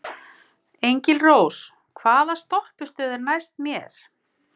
Engilrós, hvaða stoppistöð er næst mér?